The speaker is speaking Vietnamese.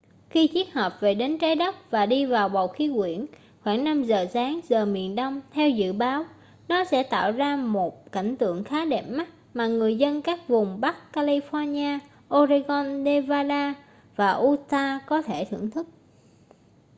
khi chiếc hộp về đến trái đất và đi vào bầu khí quyển khoảng 5 giờ sáng giờ miền đông theo dự báo nó sẽ tạo ra một cảnh tượng khá đẹp mắt mà người dân các vùng bắc california oregon nevada và utah có thể thưởng thức